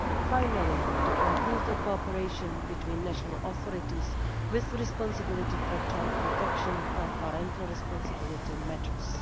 Finally, to improve the cooperation between national authorities with responsibility for child protection or parental responsibility matters.